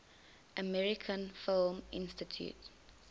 american film institute